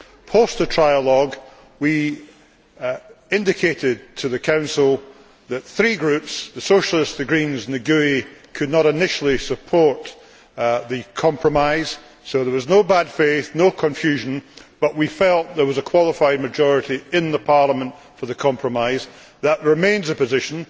Post trialogue, we indicated to the Council that three groups the Socialists, the Greens and GUE NGL could not initially support the compromise so there was no bad faith or confusion, but we felt that there was a qualified majority in Parliament for the compromise. That remains the position.